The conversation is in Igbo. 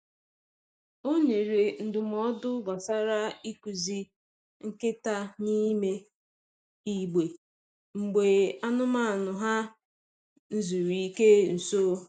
O nyere ndụmọdụ gbasara ịkụzi nkịta n’ime igbe mgbe anụmanụ ha n'zuru ike nso.